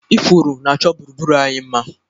Ifuru na-achọ gburugburu anyị mma